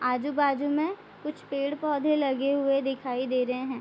आजु-बाजू में कुछ पेड़-पौधे लगे हुए दिखाई दे रहें हैं।